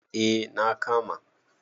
eh na kama